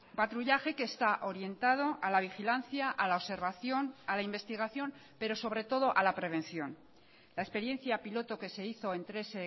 patrullaje que está orientado a la vigilancia a la observación a la investigación pero sobre todo a la prevención la experiencia piloto que se hizo en tres